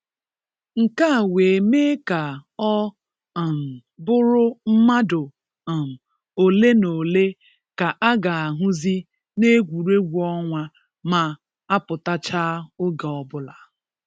nke a wee mee ka ọ um bụrụ mmadụ um ole na ole ka a ga-ahụzị n’egwuregwu ọnwa ma-apụtachaa oge ọbụla.